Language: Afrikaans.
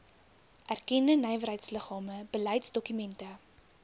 erkende nywerheidsliggame beleidsdokumente